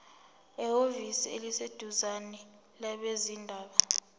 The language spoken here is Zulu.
ehhovisi eliseduzane labezindaba